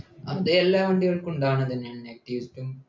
അത് എല്ലാ വണ്ടികൾക്കും ഉണ്ടാവണതന്നെയാ negetives ഉം